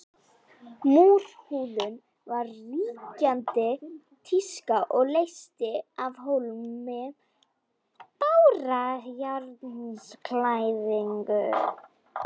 Múrhúðun var ríkjandi tíska og leysti af hólmi bárujárnsklæðningu.